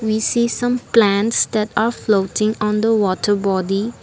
we see some plants that are floating on the water bottle.